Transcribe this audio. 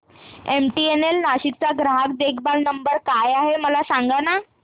MTNL Nashik चा ग्राहक देखभाल नंबर काय आहे मला सांगाना